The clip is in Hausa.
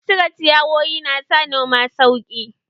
Cire ciyawowi na sa noma sauƙi